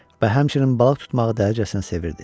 Və həmçinin balıq tutmağı dəhşətinə sevirdi.